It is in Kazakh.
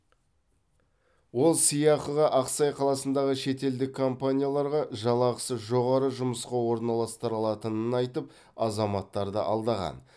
ол сыйақыға ақсай қаласындағы шетелдік компанияларға жалақысы жоғары жұмысқа орналастыра алатынын айтып азаматтарды алдаған